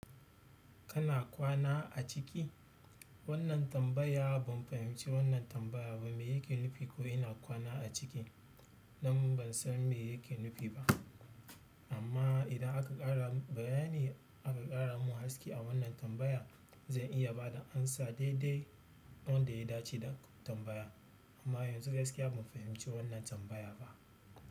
Kana kwana a ciki? Wannan tambaya ban fahimci wannan tambaya ba, me yake nufi ko ina kwana a ciki? Nan ban san me yake nufi ba. Amma idan aka ƙara min bayani aka ƙara mun haske a wannan tambaya, zan iya bada amsa daidai wanda ya dace da tambaya. Amma yanzu gaskiya ban fahimci wannan tambaya ba.